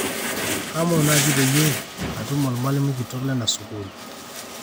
kaomu naaji peyie atum olmalimui kitok lena sukuul